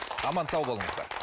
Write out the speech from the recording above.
аман сау болыңыздар